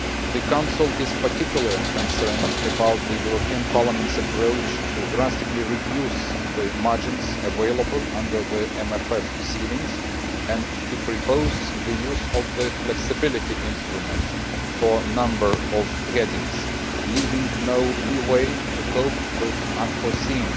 The Council is particularly concerned about the European Parliament's idea of drastically reducing the margins available under the MFF ceilings and to propose the use of the flexibility instrument for a number of headings, leaving no leeway to cope with unforeseen